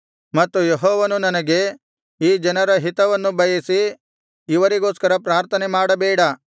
ಮತ್ತು ಯೆಹೋವನು ನನಗೆ ಈ ಜನರ ಹಿತವನ್ನು ಬಯಸಿ ಇವರಿಗೋಸ್ಕರ ಪ್ರಾರ್ಥನೆ ಮಾಡಬೇಡ